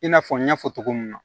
I n'a fɔ n y'a fɔ cogo min na